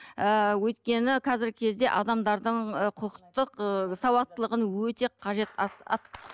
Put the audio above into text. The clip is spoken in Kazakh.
ыыы өйткені қазіргі кезде адамдардың ы құқықтық ы сауаттылығын өте қажет